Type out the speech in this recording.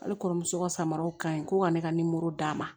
Ale kɔrɔmuso ka samaraw ka ɲi ko ka ne ka nimoro d'a ma